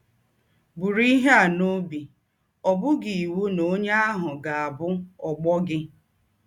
Bụrụ ihe a n’ọbi: Ọ bụghị iwụ na ọnye ahụ ga - abụ ọgbọ gị.